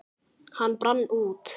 Hann brann út.